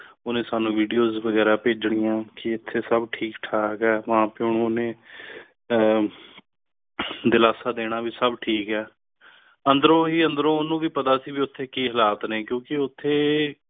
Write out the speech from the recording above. ਹੁਣ ਸਾਨੂੰ videos ਗੁਜ਼ਰਾਨ ਭੇਜਣੀਆਂ ਕੀ ਉੱਥੇ ਸਭ ਠੀਕ-ਠਾਕ ਹੈ ਮਾਂ ਪਿਓ ਨੇ ਦਿਲਾਸਾ ਦੇਣਾ ਵੀ ਸਭ ਠੀਕ ਹੈ ਅੰਦਰੋਂ ਹੀ ਅੰਦਰੋਂ ਨੂੰ ਵੀ ਪਤਾ ਸੀ ਓਥੇ ਕੀ ਹਲਾਲ ਨੇ ਕਿਉਂਕਿ ਉੱਥੇ